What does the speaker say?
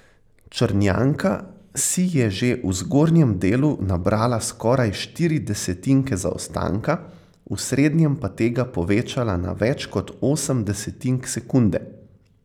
Črnjanka si je že v zgornjem delu nabrala skoraj štiri desetinke zaostanka, v srednjem pa tega povečala na več kot osem desetink sekunde.